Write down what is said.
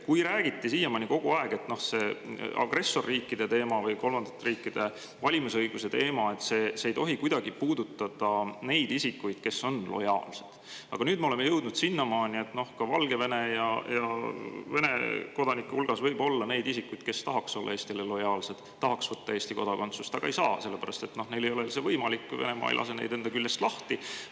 Siiamaani räägiti kogu aeg, et see agressorriikide või kolmandate riikide valimisõiguse teema ei tohi kuidagi puudutada neid isikuid, kes on lojaalsed, aga nüüd me oleme jõudnud sinnamaani, kus ka Valgevene ja Vene kodanike hulgas võib olla isikuid, kes tahaks olla Eestile lojaalsed, tahaks võtta Eesti kodakondsust, aga ei saa, sellepärast et neil ei ole see võimalik, kuna Venemaa ei lase neid enda küljest lahti.